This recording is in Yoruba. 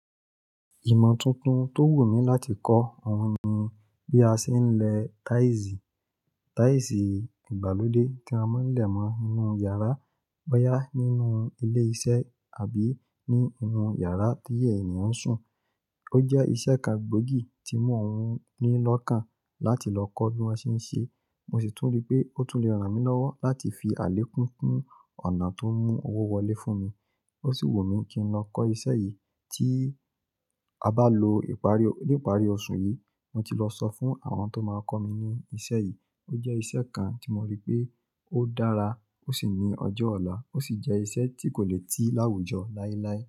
Ìmọ̀ tuntun tó wù mí láti kọ́ ọ̀hún ni bí a ṣe ń lẹ táìsì. Táìsì ìgbàlódé tí a máa ń lẹ̀ mọ́ inu yàrá bọ́yá nínú ilé iṣẹ́ àbí ní inú yàrá tí ènìyàn ń sùn. Ó jẹ́ iṣẹ́ kan gbòógì tí mo hún ní lọ́kàn láti lọ kọ́ bí wọ́n ṣe ń ṣe. Mo sì tún rí pé ó tún le ran mí lọ́wọ́ láti fi àlékún kún ọ̀nà tó ń mú owó wọlé fún mi. Ó sì wù mí kí n lọ kọ́ iṣẹ́ yìí tí a bá lo ipari, ní ìparí oṣù yìí. Mo ti lọ sọ fún àwọn tó máa kọ́ mi ní iṣẹ́ yìí. Ó jẹ́ iṣẹ́ kan tí mo rí pé ó dára ó sì ní ọjọ́ ọ̀la. Ó sì jẹ́ iṣẹ́ tí kò lè tii láwùjọ láíláí.